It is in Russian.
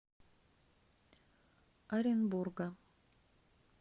оренбурга